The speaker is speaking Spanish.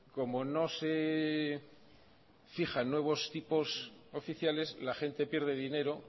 como no se fijan nuevos tipos oficiales la gente pierde dinero